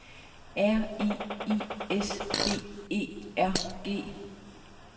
R I I S B E R G